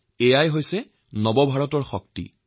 ইয়েই হল নিউ Indiaৰ শক্তি